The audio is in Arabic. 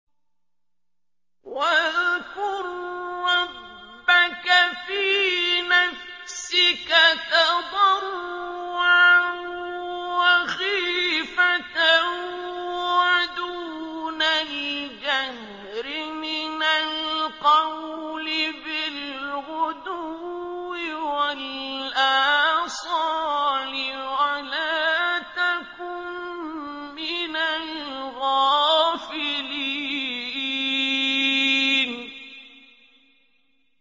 وَاذْكُر رَّبَّكَ فِي نَفْسِكَ تَضَرُّعًا وَخِيفَةً وَدُونَ الْجَهْرِ مِنَ الْقَوْلِ بِالْغُدُوِّ وَالْآصَالِ وَلَا تَكُن مِّنَ الْغَافِلِينَ